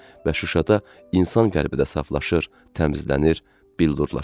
Və Şuşada insan qəlbi də saflaşır, təmizlənir, billurlaşır.